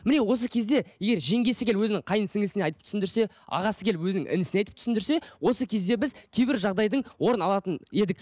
міне осы кезде егер жеңгесі келіп өзінің қайын сіңлілісіне айтып түсіндірсе ағасы келіп өзінің інісіне айтып түсіндірсе осы кезде біз кейбір жағдайдың орнын алатын едік